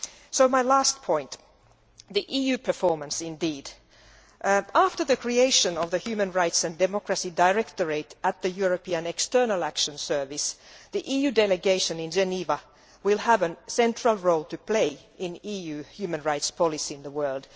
So to my last point the EU's performance. After the creation of the Human Rights and Democracy Directorate at the European External Action Service, the EU delegation in Geneva will have a central role to play in EU human rights policy in the world.